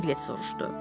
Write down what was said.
Pilet soruşdu.